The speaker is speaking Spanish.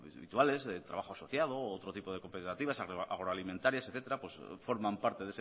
habituales de trabajo asociado u otro tipo de cooperativas agroalimentarias etcétera forman parte